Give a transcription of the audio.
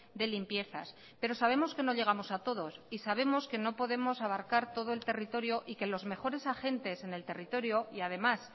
de limpiezas pero sabemos que no llegamos a todos y sabemos que no podemos abarcar todo el territorio y que los mejores agentes en el territorio y además